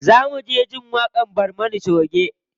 Za mu je jin waƙar barmana choge.